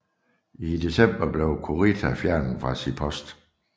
I december blev Kurita fjernet fra sin post